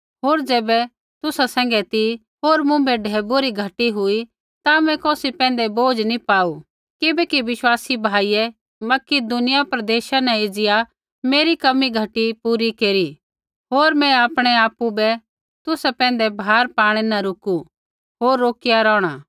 होर ज़ैबै तुसा सैंघै ती होर मुँभै ढैबुऐ री घटी हुई ता मैं कौसी पैंधै बोझ नी पाऊ किबैकि विश्वासी भाइयै मकिदुनिया प्रदेशा न एज़िया मेरी कमी घटी पूरी केरी होर मैं आपणै आपु बै तुसा पैंधै भार पाणै न रुकु होर रोकिया रोहणा